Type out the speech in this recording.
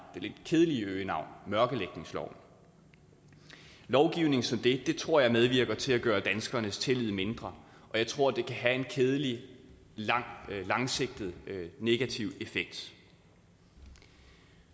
lidt kedelige øgenavn mørklægningsloven lovgivning som det tror jeg medvirker til at gøre danskernes tillid mindre og jeg tror det kan have en kedelig langsigtet negativ effekt